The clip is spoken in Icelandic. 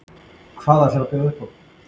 Hvað ætlar þú að bjóða upp á?